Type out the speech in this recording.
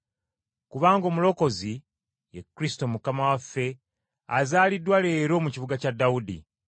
Kubanga Omulokozi, ye Kristo Mukama waffe azaaliddwa leero mu kibuga kya Dawudi.